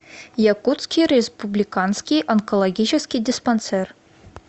якутский республиканский онкологический диспансер